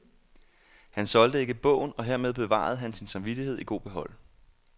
Han solgte ikke bogen, og hermed bevarede han sin samvittighed i god behold.